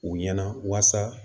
U ɲɛna walasa